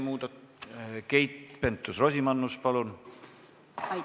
Keit Pentus-Rosimannus, palun!